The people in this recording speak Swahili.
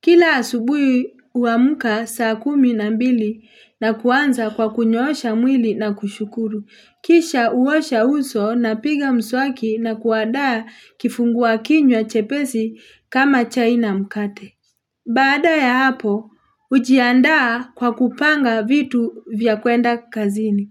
Kila asubuhi huamka saa kumi na mbili na kuanza kwa kunyoosha mwili na kushukuru. Kisha uosha uso, napiga mswaki na kuandaa kifungua kinywa chepesi kama chai na mkate. Badaa ya hapo, hujiandaa kwa kupanga vitu vya kwenda kazini.